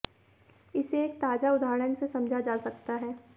इसे एक ताज़ा उदाहरण से समझा जा सकता है